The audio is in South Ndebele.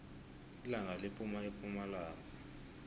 ilanga liphuma epumalanga